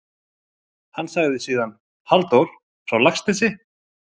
Hann sagði síðan: Halldór frá Laxnesi?